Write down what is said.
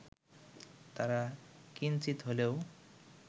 তারা কিঞ্চিৎ হলেও